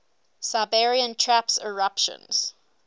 siberian traps eruptions